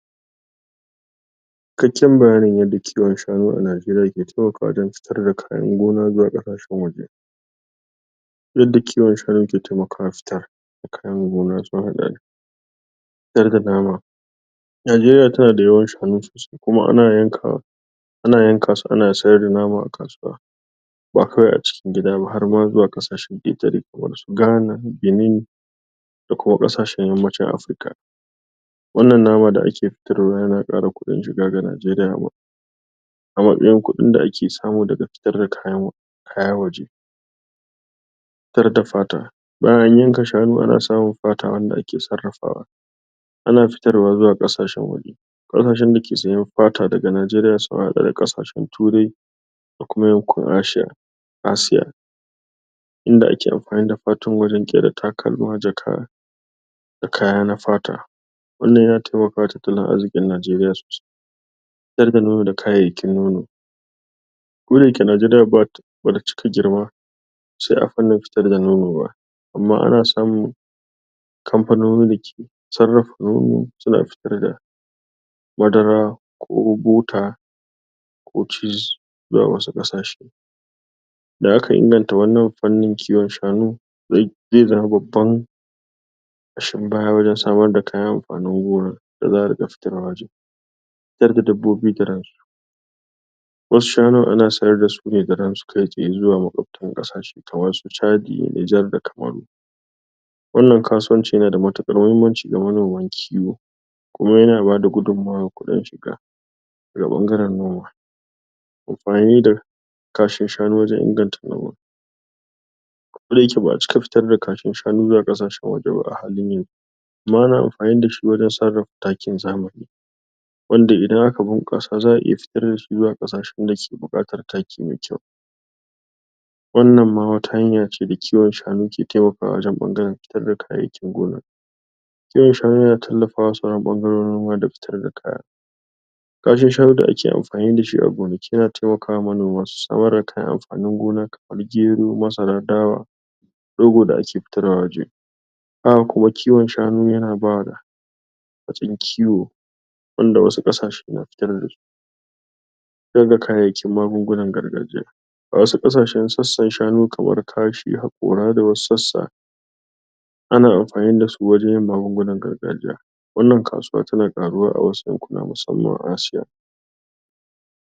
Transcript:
Yadda ake haɗa shukar abarba a Najeriya. A Najeriya? ana iya yaɗa shukar abarba ta hanyoyi daban-daban, amma mafi sauƙi ko yawan mafi yawan amfani, sune hanyoyi guda uku; amfani da ginɗin shuka da aka girbe.? Bayan an girbe abarba, shukar tana haifar da wasu sabbin ƴaƴa a gefen ta, wannan ƴaƴan sukan fito ne daga ƙasan shukan da ake cirewa a dasa a sabon wuri. Wannan hanya ce ta gargajiya, kuma tana bada sakamako mai kyau. Amfani da kan abarba: lokacin da aka yanke? kan abarba, akwai wata ƴar kai a? saman abarban, ana? cire wannan kai sannan a wanke shi, a barshi ya bushe na kwana biyu zuwa uku, daga nan sai a dasa shi gun ƙasa mai kyau. Amfani da tsuron gefe: wannan ƙananan tsirrai ne da ke fitowa a gefe ko tsakanin ganyen abarba.? Su ma ana cire su a dasa su a ruwan da aka shirya. Amfani da sabon tushe: idan an girbe abarba, wasu shukoki su kan cigaba da fitowa da ga asalin ginɗin shukar da aka girbe. Wannan ma ana iya cire? su a dasa su a wani wuri, ko a barsu su cigaba da girma a inda suke. Yadda ake shiirya shukar: a samu ƙasa mai kyau? wadda bata cike da duwatsu ba. Ayi shuka a lokacin damina, ko kuma a? haɗin ban ruwa idan ana yin shuka a lokacin rani. Ana shuka a tazarar kusan ƙafa biyu,? ƙafa ɗaya da rabi zuwa ƙafa biyu, ko ƙafa uku zuwa tsakanin ko wata shuka da ta dace. A tabbatar ƙasa na da kyau, kuma tana da isasshen danshi ba tare da ambaliya ba. Kula da shukar da zarar an dasa: a rinƙa share ciyawa don? kaucewa garkuwa da shukar. A iya sa taki kamar? taki daga shanu, ku kuma takin zamaniwato mpk, domin bunƙasa girma. A riƙa kula da ƙwari da cuttuttuka, ga amfani da magungunan ƙwari idan buƙatar hakan ta taso. Hanyoyin yaɗa shukar? abarba.?